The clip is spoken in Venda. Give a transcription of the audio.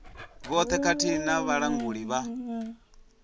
vhoṱhe khathihi na vhalanguli vha